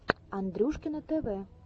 андрюшкино тв